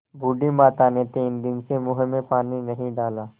बूढ़ी माता ने तीन दिन से मुँह में पानी नहीं डाला